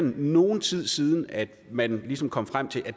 nogen tid siden at man ligesom kom frem til at